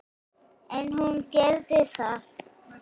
En hún gerði það.